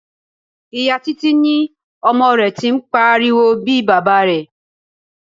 Ìyá Títí ní ọmọ rẹ tí ń pariwo bí Baba rẹ.